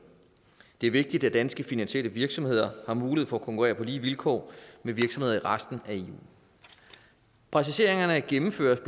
det er vigtigt at danske finansielle virksomheder har mulighed for at konkurrere på lige vilkår med virksomheder i resten af eu præciseringerne gennemføres